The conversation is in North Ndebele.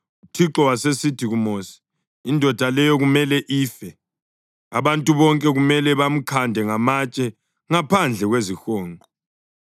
UThixo wasesithi kuMosi, “Indoda leyo kumele ife. Abantu bonke kumele bamkhande ngamatshe ngaphandle kwezihonqo.”